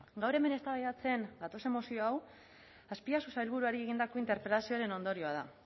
gaur hemen eztabaidatzen gatozen mozio hau azpiazu sailburuari egindako interpelazioaren ondorioa da